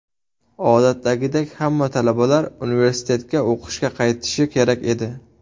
Odatdagidek, hamma talabalar universitetga o‘qishga qaytishi kerak edi.